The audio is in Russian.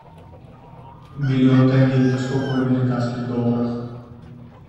миллион тенге это сколько в американских долларах